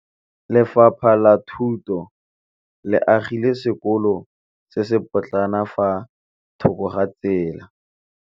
Lefapha la Thuto le agile sekôlô se se pôtlana fa thoko ga tsela.